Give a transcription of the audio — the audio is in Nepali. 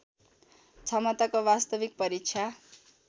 क्षमताको वास्तविक परीक्षा